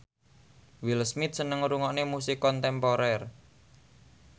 Will Smith seneng ngrungokne musik kontemporer